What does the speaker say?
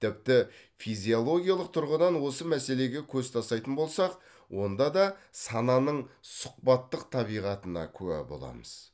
тіпті физиологиялық тұрғыдан осы мәселеге көз тастайтын болсақ онда да сананың сұхбаттық табиғатына куә боламыз